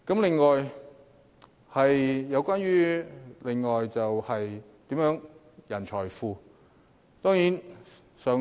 另一點關乎人才庫。